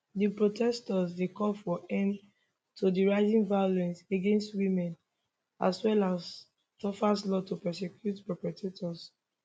di protestors dey call for end to di rising violence against women as well as tougher laws to prosecute perpetrators